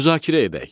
Müzakirə edək.